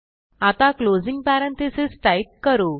आता closing parenthesis type करू